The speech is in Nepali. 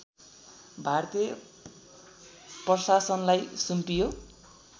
भारतीय प्रशासनलाई सुम्पियो